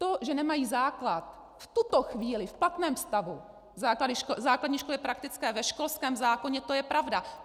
To, že nemají základ v tuto chvíli v platném stavu, základní školy praktické, ve školském zákoně, to je pravda.